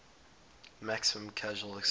maximum casual excise